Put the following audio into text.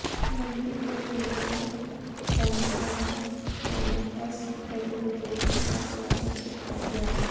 ਮੰਡੀ ਗੋਬਿੰਦਗੜ੍ਹ ਕੌਂਸਲਰਾਂ ਵੱਲੋਂ ਇਸ ਨੋਟੀਫਿਕੇਸ਼ਨ ਦਾ ਸਵਾਗਤ ਕੀਤਾ ਗਿਆ